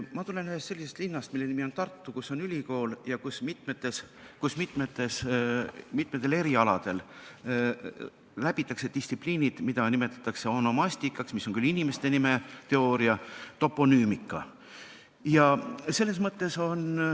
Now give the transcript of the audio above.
Ma tulen ühest sellisest linnast, mille nimi on Tartu, kus on ülikool ja kus mitmel erialal õpitakse distsipliini, mida nimetatakse onomastikaks ja toponüümikaks.